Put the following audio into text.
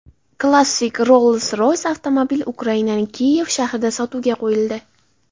Klassik Rolls-Royce avtomobili Ukrainaning Kiyev shahrida sotuvga qo‘yildi.